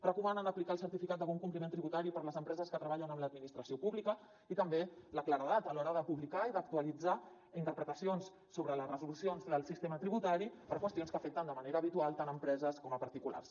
recomanen aplicar el certificat de bon compliment tributari per a les empreses que treballen amb l’administració pública i també la claredat a l’hora de publicar i d’actualitzar interpretacions sobre les resolucions del sistema tributari per qüestions que afecten de manera habitual tant empreses com particulars